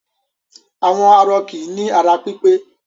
Àwọn arọ kì í ní ara pípẹ́.